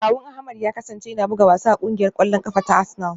Kawun Ahmed ya kasance yana buga wasa a kungiyar kwallon kafa ta Arsenal.